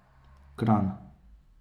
Kranj.